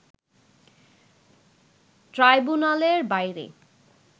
ট্রাইব্যুনালের বাইরে